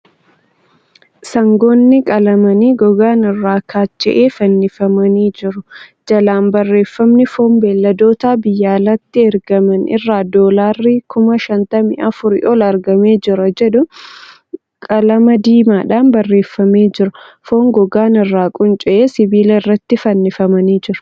Sangoonni qalamanii gogaan irraa kaacha'e fannifamanii jiru. Jalaan barreeffamni 'foon beelladoota biyya alaatti ergaman irraa doolaarri kuma shantamii afurii ol argamee jira' kan jedhu qalama diimaadhaan barreeffamee jira. Foon gogaan irraa qunca'e sibiila irratti fannifamanii jiru.